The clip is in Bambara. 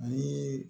Ani